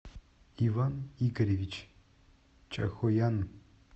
иван игоревич чахоян